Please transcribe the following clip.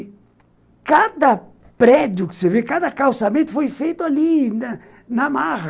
E cada prédio que você vê, cada calçamento foi feito ali, na marra.